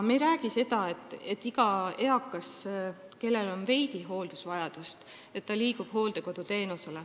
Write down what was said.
Me ei räägi sellest, et iga eakas, kellel on veidi hooldusvajadust, peaks saama hooldekoduteenust.